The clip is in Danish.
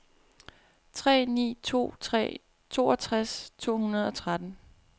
tre ni to tre toogtres to hundrede og tretten